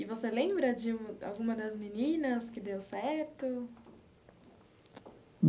E você lembra de alguma das meninas que deu certo?